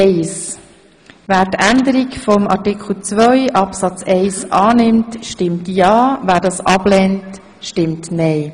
Wer die Änderung von Artikel 2, Absatz 1 annimmt, stimmt ja, wer das ablehnt, stimmt nein.